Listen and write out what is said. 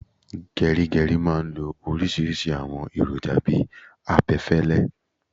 Gerigeri máa ń lo oríṣiríṣi àwọn èròjà bi abẹfẹlẹ